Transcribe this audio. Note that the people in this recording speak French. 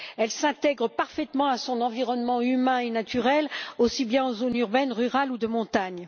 Elle s'intègre parfaitement à son environnement humain et naturel, que ce soit en zone urbaine, rurale ou de montagne.